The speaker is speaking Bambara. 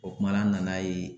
O kuma na an nan'a ye